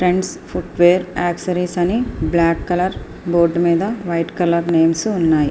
Friends footwear accessories అని black colour board మీద white colour names ఉన్నాయి.